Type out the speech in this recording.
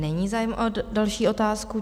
Není zájem o další otázku.